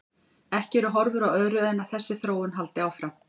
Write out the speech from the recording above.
Ekki eru horfur á öðru en að þessi þróun haldi áfram.